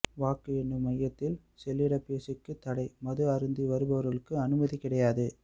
வாக்கு எண்ணும் மையத்தில் செல்லிடபேசிக்கு தடை மது அருந்தி வருபவா்களுக்கு அனுமதி கிடையாது